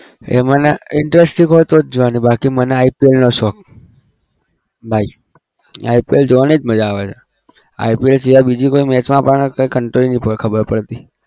એ મને interesting હોય તો જ જોવાની બાકી મને IPL નો શોખ ભાઈ IPL જોવાની જ મજા આવે છે. IPL સિવાય બીજી કોઈ match માં આપણને કઈ નહિ ખબર પડતી